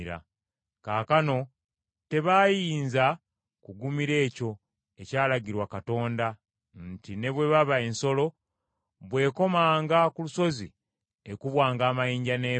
Kubanga tebaayinza kugumira ekyo ekyalagirwa Katonda nti, “Ne bw’eba ensolo, bw’ekomanga ku lusozi ekubwanga amayinja n’efa.”